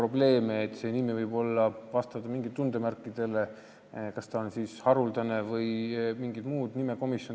Näiteks võib nimi vastata mingitele tundemärkidele, olla haruldane vms.